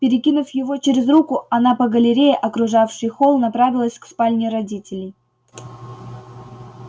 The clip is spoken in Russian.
перекинув его через руку она по галерее окружавшей холл направилась к спальне родителей